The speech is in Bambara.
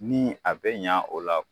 Ni a bɛ ɲa o la.